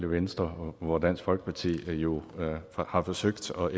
venstre hvor dansk folkeparti jo har forsøgt at